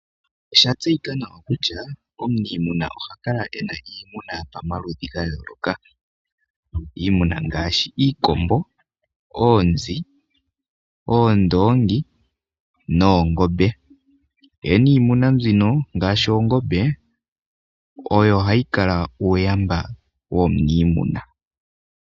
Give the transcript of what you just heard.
Oshatseyika nawa kutya omuniimuna ohakala ena iimuna pamaludhi ga yooloka iimuna ngaashi iikombo ,oonzi ,oondoongi noongombe ye niimuna mbino ngaashi oongombe oyo hayi kala uuyamba womuniimuna.